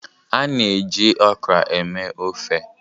A na-eji okra eme ofe.